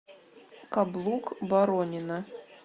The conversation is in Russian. каблук боронина